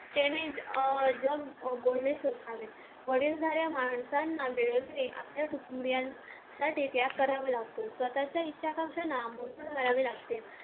त्यांनी अं वडीलधाऱ्या माणसांना व्यवस्थित आपल्या कुटुंबीयांसाठी त्याग करावा लागतो स्वतःच्या इच्छा आकांक्षा करावे लागते